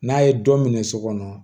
N'a ye dɔ minɛ so kɔnɔ